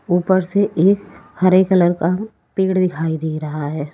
ऊपर से एक हरे कलर का पेड़ दिखाई दे रहा है।